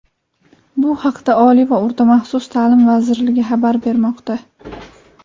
Bu haqda Oliy va o‘rta maxsus ta’lim vazirligi xabar bermoqda.